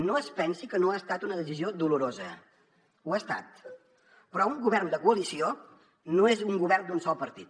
no es pensi que no ha estat una decisió dolorosa ho ha estat però un govern de coalició no és un govern d’un sol partit